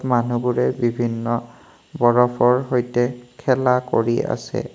মানুহবোৰে বিভিন্ন বৰফৰ সৈতে খেলা কৰি আছে।